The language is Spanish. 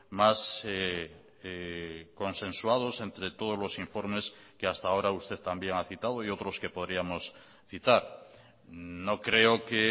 más consensuados entre todos los informes que hasta ahora usted también ha citado y otros que podríamos citar no creo que